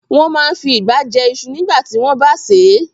Wọ́n máa n fi ìgbá jẹ iṣu nígbàtí wọ́n bá sè é